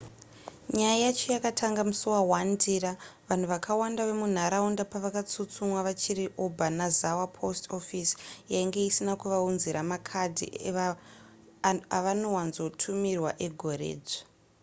nyaya yacho yakatanga musi wa1 ndira vanhu vakawanda vemunharaunda pavakatsutsumwa vachiri obanazawa post office yainge isina kuvaunzira makadhi avanowanzotumirwa egoredzva